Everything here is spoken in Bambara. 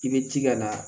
I bɛ jika na